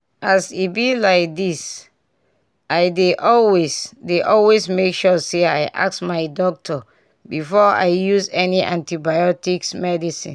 as e be like disi dey always dey always make sure say i ask my doctor before i use any antibiotics medicine